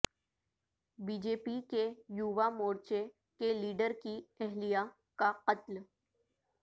B J پی کے یووا مورچے کے لیڈر کی اہلیہ کا قتل